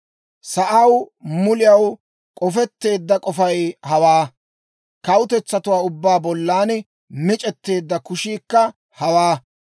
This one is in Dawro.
Sa'aw muliyaw k'ofetteedda k'ofay hawaa; kawutetsatuwaa ubbaa bollan mic'etteedda kushiikka hawaa.